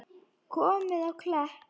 Komið á Klepp?